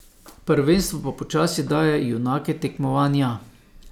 Prvenstvo pa počasi daje junake tekmovanja.